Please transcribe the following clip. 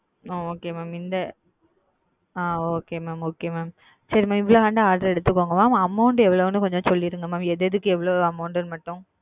அ okay mam இந்த அ okay mam okay mam சரி மா எவ்வளவு வேணா order எடுத்துகோங்க mam amount மட்டும் எவ்வளவுனு சொல்லிருங்க mam எதெதுக்கு எவ்வளவு னு மட்டும் சொல்லிடுங்க.